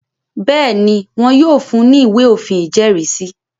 Bẹ́ẹ̀ni, wọn yóò fun ní “ ìwé òfin ìjẹ́rìísí.